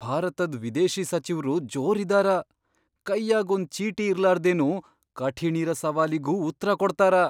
ಭಾರತದ್ ವಿದೇಶಿ ಸಚಿವ್ರು ಜೋರ್ ಇದ್ದಾರ, ಕೈಯಾಗ್ ಒಂದ್ ಚೀಟಿ ಇರ್ಲಾರ್ದೆನು ಕಠಿಣಿರ ಸವಾಲಿಗೂ ಉತ್ರಾ ಕೊಡ್ತಾರ.